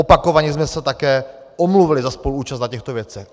Opakovaně jsme se také omluvili za spoluúčast na těchto věcech.